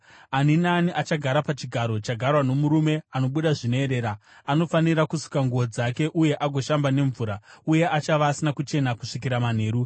Ani naani achagara pachigaro chagarwa nomurume anobuda zvinoerera anofanira kusuka nguo dzake uye agoshamba nemvura, uye achava asina kuchena kusvikira manheru.